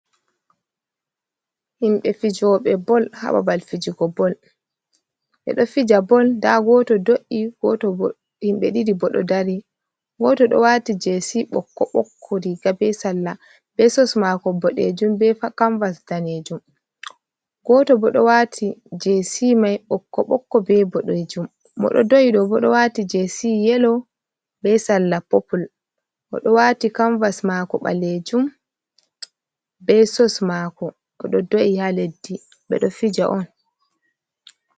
Himbe fijoɓe bol hababal fijigo bol bedo fija bol da goto do’i himbe didi bodo dari goto do wati jesi bokko bokko riga be salla be sos mako bodejum be kamvas danejum goto bo do wati jesmai bokko bokko be bodejum mo do do’i do bodo wati jesi yelo be salla popul odo wati kamvas mako balejum be sos mako odo do’i ha leddi bedo fija on.